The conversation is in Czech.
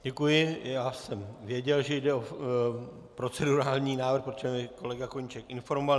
Děkuji, já jsem věděl, že jde o procedurální návrh, protože mě kolega Koníček informoval.